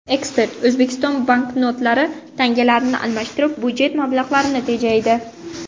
Ekspert: O‘zbekiston banknotlarni tangalarga almashtirib, budjet mablag‘larini tejaydi.